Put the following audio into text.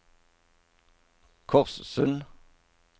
Korssund